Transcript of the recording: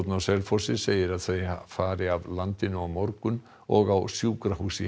á Selfossi segir að þau fari af landinu á morgun og á sjúkrahús í